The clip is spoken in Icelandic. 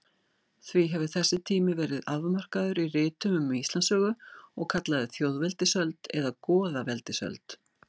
Því hefur þessi tími verið afmarkaður í ritum um Íslandssögu og kallaður þjóðveldisöld eða goðaveldisöld.